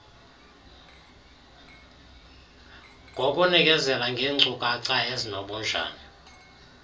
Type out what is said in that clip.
ngokunikezela ngenkcukacha ezinobunjani